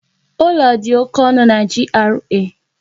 Ụlọ dị oké ọnụ na GRA.